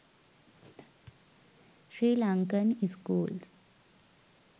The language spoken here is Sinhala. srilankan schools